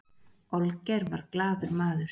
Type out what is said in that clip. olgeir var glaður maður